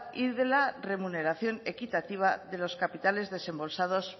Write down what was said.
y de la remuneración equitativa de los capitales desembolsados